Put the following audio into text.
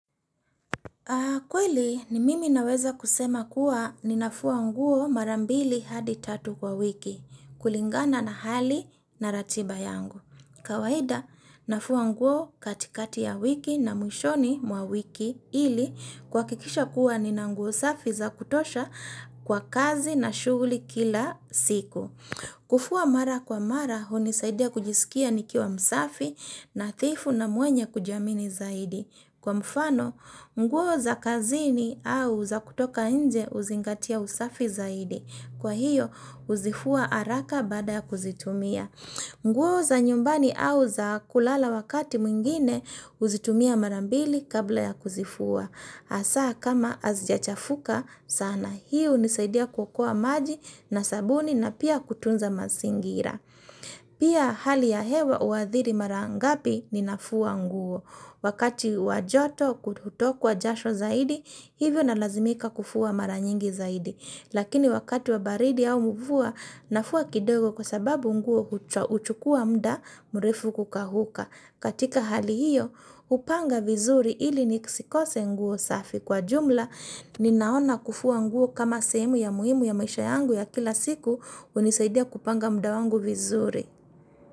Kweli ni mimi naweza kusema kuwa ninafua nguo mara mbili hadi tatu kwa wiki, kulingana na hali na ratiba yangu. Kawaida, nafua nguo katikati ya wiki na mwishoni mwa wiki ili kuhakikisha kuwa nina nguo safi za kutosha kwa kazi na shughuli kila siku. Kufua mara kwa mara, hunisaidia kujisikia nikiwa msafi nadhifu na mwenye kujiamini zaidi. Kwa mfano, nguo za kazini au za kutoka nje huzingatia usafi zaidi. Kwa hiyo, huzifua haraka baada ya kuzitumia. Mguo za nyumbani au za kulala wakati mwingine, uzitumia marambili kabla ya kuzifua. Hasa kama hazijachafuka, sana hii hunisaidia kukua maji na sabuni na pia kutunza mazingira. Pia hali ya hewa uhadhiri mara ngapi ninafua nguo. Wakati wa joto kutokwa jasho zaidi, hivyo na lazimika kufua mara nyingi zaidi. Lakini wakati wa baridi au mvua, nafua kidogo kwa sababu nguo huchukua muda mrefu kukauka. Katika hali hiyo, hupanga vizuri ili nisikose nguo safi. Kwa jumla, ninaona kufua nguo kama sehemu ya muhimu ya maisha yangu ya kila siku hunisaidia kupanga muda wangu vizuri.